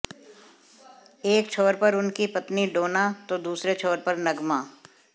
एक छोर पर उनकी पत्नी डोना तो दूसरे छोर पर नगमा